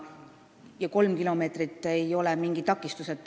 Ja kolm kilomeetrit ei ole mingi takistus.